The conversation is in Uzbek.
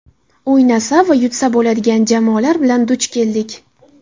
O‘ynasa va yutsa bo‘ladigan jamoalar bilan duch keldik.